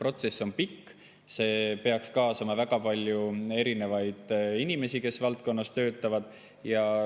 Protsess on pikk, sinna peaks kaasama väga palju inimesi, kes valdkonnas töötavad.